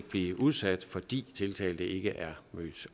blive udsat fordi tiltalte ikke er mødt